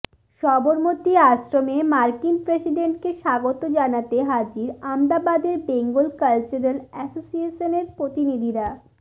সবরমতী আশ্রমে মার্কিন প্রেসিডেন্টকে স্বাগত জানাতে হাজির আমদাবাদের বেঙ্গল কালচারাল অ্যাসোসিয়েশনের প্রতিনিধিরা